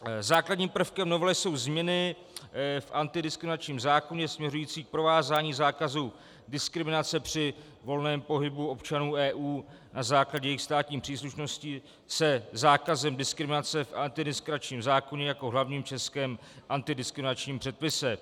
Základním prvkem novely jsou změny v antidiskriminačním zákoně směřující k provázání zákazu diskriminace při volném pohybu občanů EU na základě jejich státní příslušnosti se zákazem diskriminace v antidiskriminačním zákoně jako hlavním českém antidiskriminačním předpise.